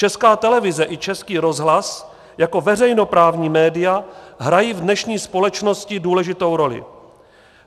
Česká televize i Český rozhlas jako veřejnoprávní média, hrají v dnešní společnosti důležitou roli.